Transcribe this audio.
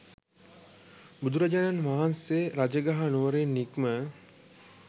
බුදුරජාණන් වහන්සේ රජගහ නුවරින් නික්ම